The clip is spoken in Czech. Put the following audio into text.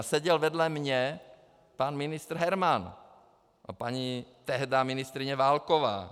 A seděl vedle mě pan ministr Herman a paní tehdá ministryně Válková.